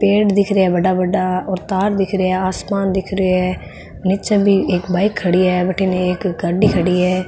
पेड़ दिख रहे है बड़ा बड़ा और तार दिख रहे है आसमान दिख रहे है निचे भी एक बाइक खड़ी है वठिने एक गाड़ी खड़ी है।